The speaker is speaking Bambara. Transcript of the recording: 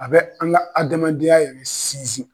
A bɛ an ka adamadenya yɛrɛ sinsin.